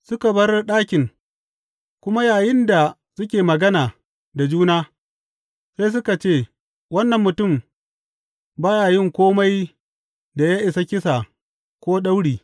Suka bar ɗakin, kuma yayinda suke magana da juna, sai suka ce, Wannan mutum ba ya yin kome da ya isa kisa ko dauri.